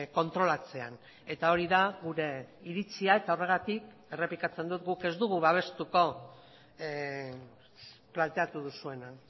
kontrolatzean eta hori da gure iritzia eta horregatik errepikatzen dut guk ez dugu babestuko planteatu duzuena